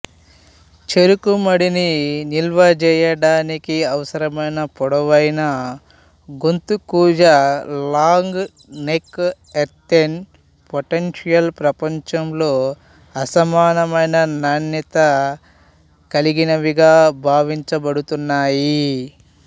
చెరుకు మడ్డిని నిలువజేయడానికి అవసరమైన పొడవైన గొంతు కూజా లాంగ్ నెక్ ఎర్తెన్ పొటెంషియల్ ప్రపంచంలో అసమానమైన నాణ్యతకలిగినవిగా భావించబడుతున్నాయి